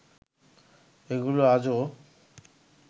এগুলো আজও